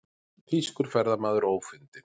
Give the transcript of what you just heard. Þýskur ferðamaður ófundinn